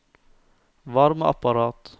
varmeapparat